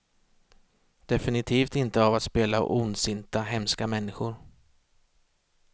Definitivt inte av att spela ondsinta, hemska människor.